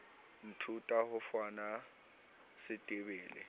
a nthuta ho fina setebele